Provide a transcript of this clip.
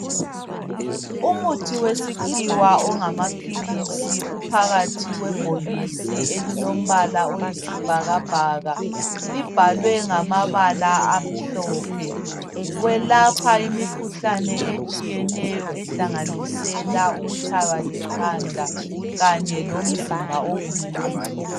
Umuthi wesikhiwa ongamaphilisi uphakathi kwebhokisi elilombala oyisibhakabhaka, libhalwe ngamabala amhlophe. Welapha imikhuhlane etshiyeneyo ehlanganisela ukutshaywa likhanda kanye lomzimba obuhlungu.